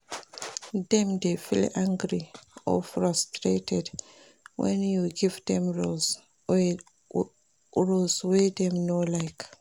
Dem de feel angry or frustrated when you give dem rules wey dem no like